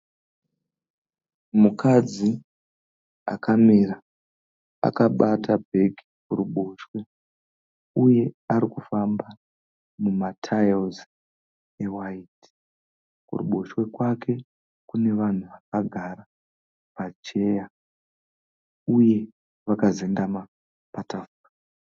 Mukadzi akamira akabata bhegi kuruboshwe uye arikufamba mumataira ewaiti. Kuruboshwe kwake kune vanhu vakagara pacheya uye vakazendama patafura.